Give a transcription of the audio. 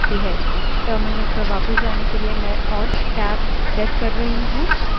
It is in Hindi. terminal पर वापस जाने के लिए मैं alt + tab alt + tab press कर रही हूँ